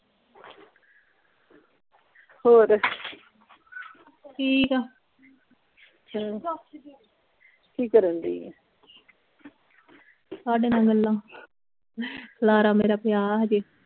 ਹੋਰ ਠੀਕ ਆ ਚਲੋ ਕੀ ਕਰਨ ਡਈ ਏ ਤੁਹਾਡੇ ਨਾਲ ਗੱਲਾਂ ਖਿਲਾਰਾ ਮੇਰਾ ਪਿਆ ਹਜੇ